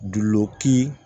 Duloki